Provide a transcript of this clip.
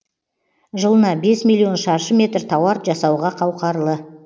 жылына бес миллион шаршы метр тауар жасауға қауқарлы